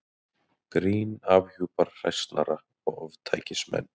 Grín afhjúpar hræsnara og ofstækismenn.